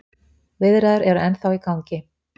Viðræður eru ennþá í gangi.